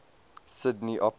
sydney opera house